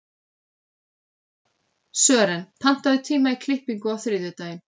Sören, pantaðu tíma í klippingu á þriðjudaginn.